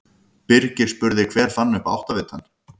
Birgir spurði: Hver fann upp áttavitann?